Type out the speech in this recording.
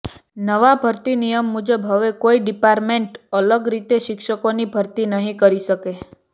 નવા ભરતી નિયમ મુજબ હવે કોઇ ડિપાર્ટમેન્ટ અલગ રીતે શિક્ષકોની ભરતી નહીં કરી શકે